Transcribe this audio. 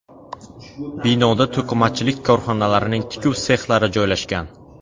Binoda to‘qimachilik korxonalarining tikuv sexlari joylashgan.